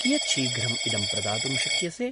कियत् शीघ्रम् इदं प्रदातुं शक्यसे?